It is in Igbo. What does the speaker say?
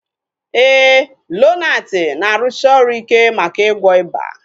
Éè, Lonati na-arụsi ọrụ ike maka ịgwọ ịba